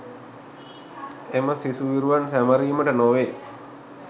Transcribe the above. එම සිසු විරුවන් සැමරීමට නොවේ